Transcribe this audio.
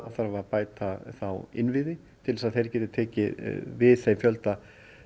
þarf að bæta þá innviði til að þeir geti tekið við þeim fjölda